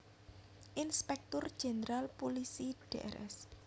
Inspektur Jéndral Pulisi Drs